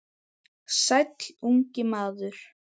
Sæll, ungi maður